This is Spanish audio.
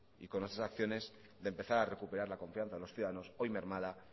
y con nuestras acciones de empezar a recuperar la confianza de los ciudadanos hoy mermada